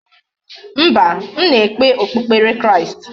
Mba, m na-ekpe okpukpere Kristi.